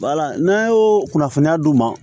n'an y'o kunnafoniya d'u ma